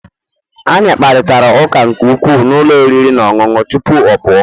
Anyị kparịta ụka nke ukwuu na ụlọ oriri na ọṅụṅụ tupu ọ pụọ